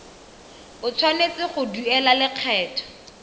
o tshwanetse go duela lekgetho